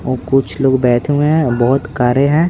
और कुछ लोग बैठे हुए हैं बहुत कार्य हैं।